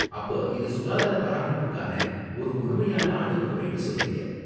அப்ப இது சுகாதாரப் பராமரிப்புக்கான ஒரு முழுமையான அணுகுமுறைன்னு சொல்றீங்க.